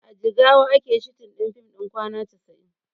A jigawa ake shooting fim ɗin kwana casa'in